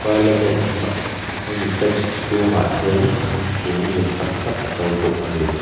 parliament hmaah hemi fance chhungah hian thingkung lian tak tak a to bawk a ni.